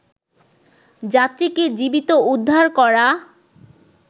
যাত্রীকে জীবিত উদ্ধার করা